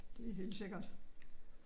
Det er helt sikkert